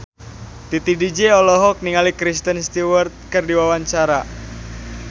Titi DJ olohok ningali Kristen Stewart keur diwawancara